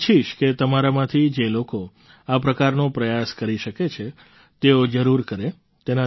હું ઈચ્છીશ કે તમારામાંથી જે લોકો આ પ્રકારનો પ્રયાસ કરી શકે છે તેઓ જરૂર કરે